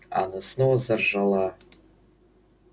а она снова заржала